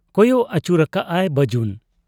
ᱠᱚᱭᱚᱜ ᱟᱹᱪᱩᱨᱟᱠᱟᱜ ᱟᱭ ᱵᱟᱹᱡᱩᱱ ᱾